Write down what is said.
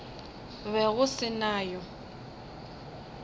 be go se na yo